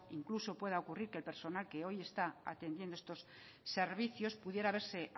incluso pueda ocurrir que el personal que hoy está atendiendo estos servicios pudiera verse